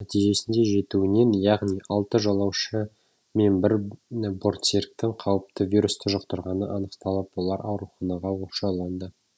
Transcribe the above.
нәтижесінде жетеуінен яғни алты жолаушы мен бір бортсеріктің қауіпті вирусты жұқтырғаны анықталып олар ауруханаға оқшауланды